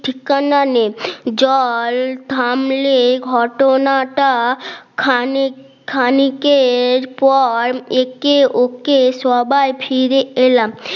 ঠিকানা নেই জল থামলে ঘটনাটা খানিক খানিকের পর একে ওকে সবাই ফিরে এলাম